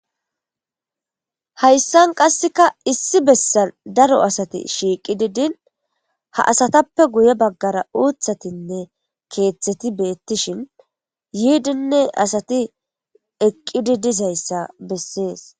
Hayssan qasseka issi bessan daro asati shiiqi di din ha asatappe guye baggara uuthatinne keeththeti beettishin yiidinne asati eqqidi dizayssa bessees.